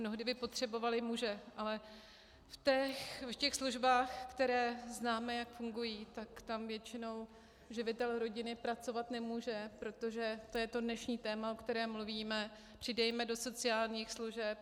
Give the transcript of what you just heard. Mnohdy by potřebovali muže, ale v těch službách, které známe, jak fungují, tak tam většinou živitel rodiny pracovat nemůže, protože to je to dnešní téma, o kterém mluvíme - přidejme do sociálních služeb.